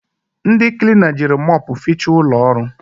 Ndị klina jiri mopu fiicha ụlọọrụ